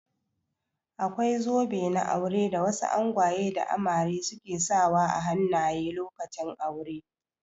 Akwai zobe na aure da wasu angwaye da amare su ke sa wa a hannaye lokacin aure.